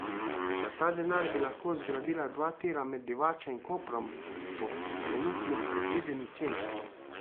Za ta denar bi lahko zgradila dva tira med Divačo in Koprom po trenutni predvideni ceni.